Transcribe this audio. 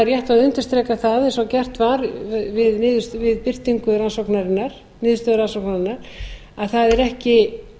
rétt að undirstrika það eins og gert var við birtingu rannsóknarinnar niðurstöðu rannsóknarinnar að það er ekki